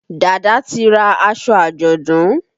Dàda ti ra aṣọ àjọ̀dún.